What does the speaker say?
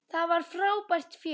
Það var frábært fjör.